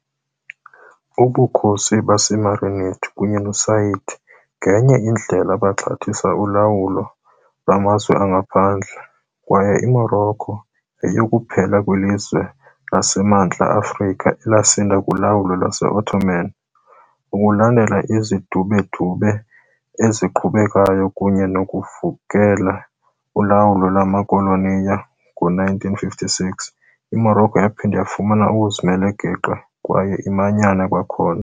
Ubukhosi baseMarinid kunye noSaadi ngenye indlela baxhathisa ulawulo lwamazwe angaphandle, kwaye iMorocco yayikuphela kwelizwe laseMntla Afrika elasinda kulawulo lwase-Ottoman. Ukulandela izidubedube eziqhubekayo kunye nokuvukela ulawulo lwamakholoniyali, ngo-1956, iMorocco yaphinda yafumana uzimele-geqe kwaye imanyana kwakhona.